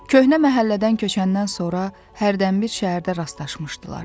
Köhnə məhəllədən köçəndən sonra hərdənbir şəhərdə rastlaşmışdılar.